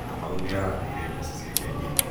kamau nĩarateire mbeca ciake nyingĩ